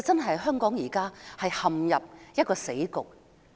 香港現在真的陷入死局。